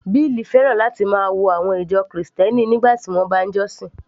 Bill fẹ́ràn láti máa wo àwọn ìjọ Kristẹni nígbà tí wọ́n bá ń jọ́sìn